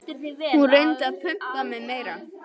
Hún reyndi að pumpa mig meira.